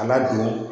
A ladon